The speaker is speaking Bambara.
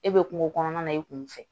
E be kungo kɔnɔna na i kun fɛ